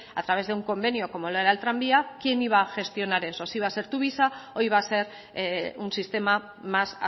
a través de un convenio como lo era el tranvía quién iba gestionar eso si iba a ser tuvisa o iba a ser un sistema más